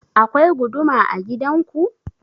Akwai guduma a gidan ku?